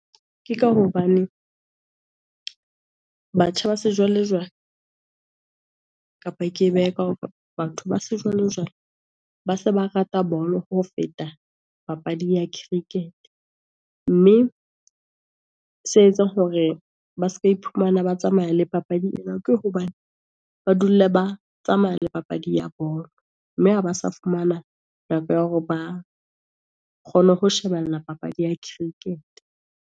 Ke ka hobane, batjha ba sejwale-jwale, kapa ke behe ka hore batho ba sejwale-jwale, ba se ba rata bolo ho feta papadi ya cricket, mme se etsang hore ba se ka iphumana ba tsamaya le papadi ena, ke hobane ba dula ba tsamaya le papadi ya bolo. Mme ha ba sa fumana nako ya hore ba kgone ho shebella papadi ya cricket.